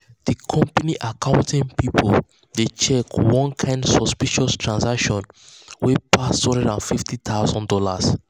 the company um accounting people dey check one um kind um suspicious transaction wey pass two hundred and fifty thousand dollars